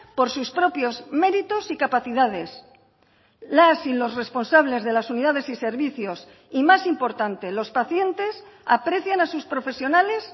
por sus propios méritos y capacidades las y los responsables de las unidades y servicios y más importante los pacientes aprecian a sus profesionales